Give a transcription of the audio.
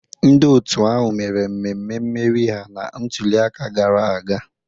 Ndị otu ahụ mere mmemme mmeri ha na ntuliaka gara aga.